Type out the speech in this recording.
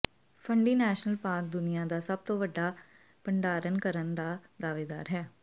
ਫੰਡੀ national park ਦੁਨੀਆ ਦਾ ਸਭ ਤੋਂ ਵੱਡਾ ਭੰਡਾਰਨ ਕਰਨ ਦਾ ਦਾਅਵੇਦਾਰ ਹੈ